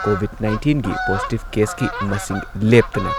COVID ꯅꯥꯏꯟꯇꯤꯟꯒꯤ positive ꯀꯦꯁꯀꯤ ꯃꯁꯤꯡ ꯂꯦꯞꯇꯅ ꯫